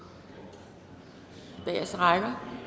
de bageste rækker